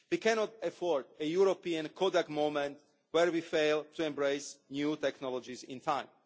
We cannot afford a European Kodak moment', where we fail to embrace new technologies in time.